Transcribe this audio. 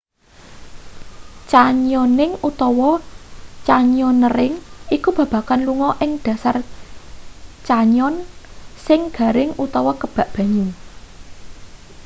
canyoning utawa: canyoneering iku babagan lunga ing dhasar canyon sing garing utawa kebak banyu